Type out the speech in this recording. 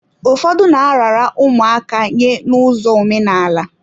Ụfọdụ na-arara ụmụaka nye n'ụzọ omenaala.